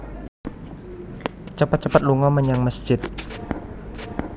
Cepet cepet lunga menyang mesjid